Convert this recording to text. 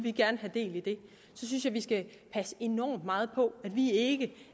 have del i det så synes jeg vi skal passe enormt meget på at vi ikke